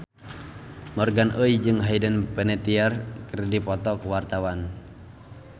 Morgan Oey jeung Hayden Panettiere keur dipoto ku wartawan